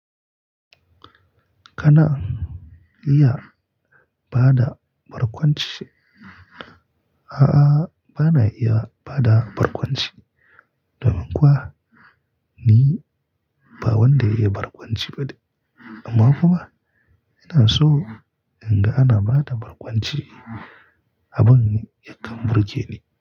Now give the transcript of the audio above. Kana iya bada barkwanci? A'a, bana iya bada barkwanci. Domin kuwa ni ba wanda iya barkwanci ba ne. Amma kuma ina so in ga ana bada barkwanci a ban yakan burgeni.